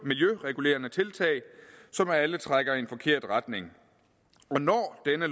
miljøregulerende tiltag som alle trækker i en forkert retning